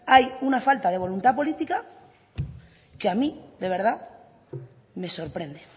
hay una falta de voluntad políticas que a mí de verdad me sorprende